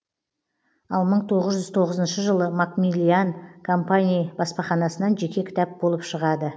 ал мың тоғыз жүз тоғызыншы жылы макмиллиан компании баспаханасынан жеке кітап болыпшығады